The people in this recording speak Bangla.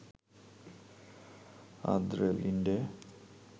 Andre Linde